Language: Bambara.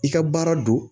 I ka baara don